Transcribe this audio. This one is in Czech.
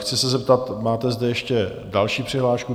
Chci se zeptat, máte zde ještě další přihlášku.